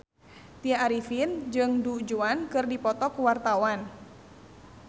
Tya Arifin jeung Du Juan keur dipoto ku wartawan